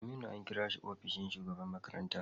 Aminu an kira shi ofishin shugaban makaranta.